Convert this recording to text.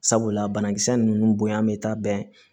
Sabula banakisɛ nunnu bonya bɛ taa bɛn